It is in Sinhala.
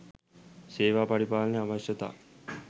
"සේවා පරිපාලන අවශ්‍යතා"